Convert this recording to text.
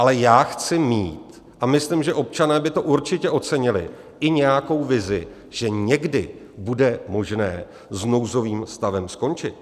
Ale já chci mít, a myslím, že občané by to určitě ocenili, i nějakou vizi, že někdy bude možné s nouzovým stavem skončit.